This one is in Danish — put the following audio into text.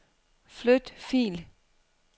Flyt fil.